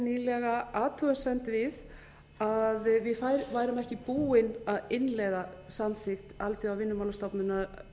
nýlega athugasemd við að við værum ekki búin að innleiða samþykkt alþjóðavinnumálastofnunarinnar